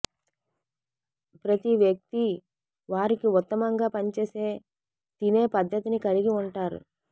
ప్రతి వ్యక్తి వారికి ఉత్తమంగా పనిచేసే తినే పద్ధతిని కలిగి ఉంటారు